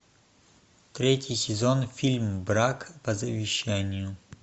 третий сезон фильм брак по завещанию